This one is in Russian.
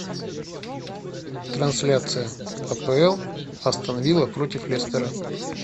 трансляция апл астон вилла против лестера